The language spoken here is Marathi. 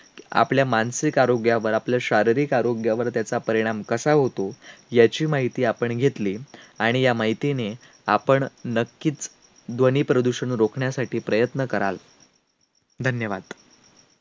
आपल्या मानसिक आरोग्यावर, आपल्या शारीरिक आरोग्यावर त्याचा परिणाम कसा होतो? याची माहिती आपण घेतली. आणि या माहितीने आपण नक्कीच ध्वनीप्रदूषण रोखण्यासाठी प्रयत्न कराल. धन्यवाद.